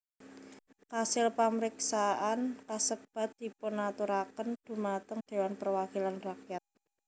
Kasil pamriksaan kasebat dipunaturaken dhumateng Dewan Perwakilan Rakyat